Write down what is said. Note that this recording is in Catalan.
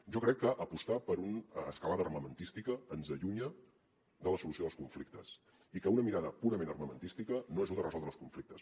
jo crec que apostar per una escalada armamentística ens allunya de la solució dels conflictes i que una mirada purament armamentística no ajuda a resoldre els conflictes